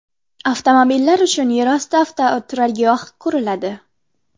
Avtomobillar uchun yerosti avtoturargohi quriladi.